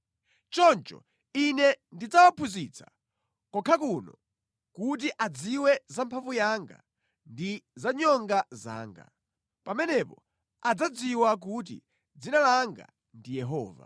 “Choncho Ine ndidzawaphunzitsa, kokha kano kuti adziwe za mphamvu yanga ndi za nyonga zanga. Pamenepo adzadziwa kuti dzina langa ndi Yehova.